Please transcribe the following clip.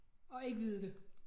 Og ikke vide det